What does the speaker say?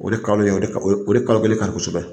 O de kalo ye o o de kalo kelen kosɛbɛ